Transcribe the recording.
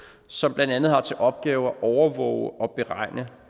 som blandt andet har til opgave at overvåge og beregne